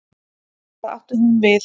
Hvað átti hún við?